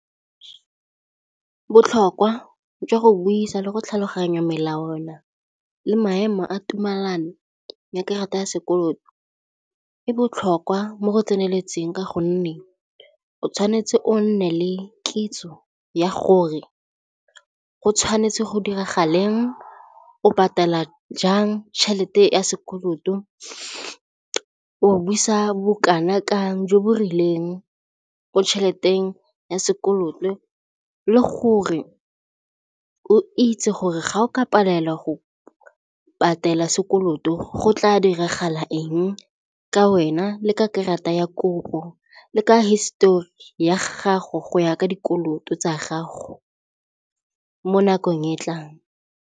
Botlhokwa jwa go buisa le go tlhaloganya melawana le maemo a tumelano ya karata ya sekoloto e botlhokwa mo go tseneletseng ka gonne o tshwanetse o nne le kitso ya gore go tshwanetse go diragaleng, o patela jang tšhelete ya sekoloto, o busa bokana kang jo bo rileng mo tšheleteng ya sekoloto le gore o itse gore ga o ka palelwa go patela sekoloto go tla diragala eng ka wena le ka karata ya kopo le ka hisetori ya gago go ya ka dikoloto tsa gago mo nakong e e tlang.